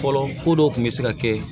Fɔlɔ ko dɔw kun bɛ se ka kɛ